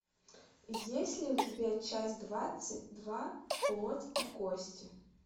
есть ли у тебя часть двадцать два плоть и кости